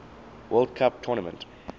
world cup tournament